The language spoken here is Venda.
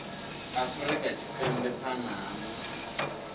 afrika tshipembe phanḓa ha musi